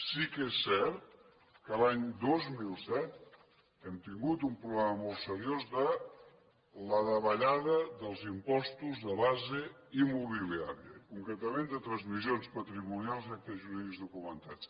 sí que és cert que l’any dos mil set hem tingut un problema molt seriós de davallada dels impostos de base immobiliària i concretament de transmissions patrimonials i actes jurídics documentats